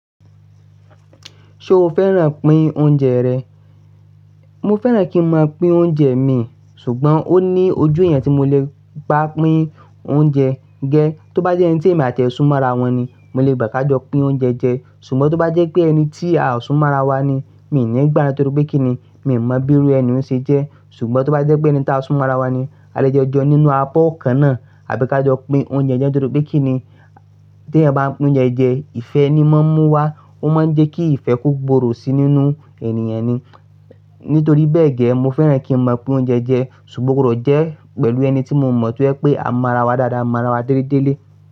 Ṣo fẹ́ràn pín oúnjẹ rẹ? Mo fẹ́ràn kí n máa pín oúnjẹ mi, ṣùgbọ́n ó ní ojú eeyan tí mo lè bá pín oúnjẹ gé. Tó bá jẹ́ ẹni tí èmi àti ẹ̀ súnmọ́ ara wọn ni, mo lè gbà ká jọ pín oúnjẹ jẹ. Ṣùgbọ́n tó bá jẹ́ pé ẹni tí a ò súnmọ́ ara wa ni, mi ò ní gbà á torí pé kí ni, mi ò mọ bí iru ẹni òun ṣe jẹ́. Ṣùgbọ́n tó bá jẹ́ pé ẹni tí a súnmọ́ ara wa ni, a lè jo jeun nínú abọ́ kan náà àbí ká jọ pín oúnjẹ jẹ́ torí pé kí ni tí ẹeyan bá pín oúnjẹ jẹ́, ìfẹ́ ni mọ́n mú wá. Ó máa ń jẹ́ kí ìfẹ́ kò gbòòrò sí nínú ènìyàn ni. Nítorí bẹ́ẹ̀ gẹ́, mo fẹ́ràn kí n máa pín oúnjẹ jẹ ṣùgbọ́n oo gbodo jẹ́ pẹ̀lú ẹni tí mo mọ̀ to je wipé à ń mọ́ ara wa dáadáa, mọ́ ara wa déle délé.